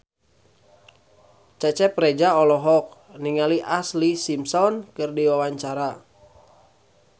Cecep Reza olohok ningali Ashlee Simpson keur diwawancara